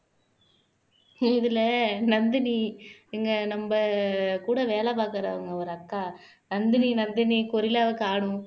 இதுல நந்தினி இங்க நம்ம கூட வேலை பாக்குறவங்க ஒரு அக்கா நந்தினி நந்தினி கொரில்லாவ காணோம்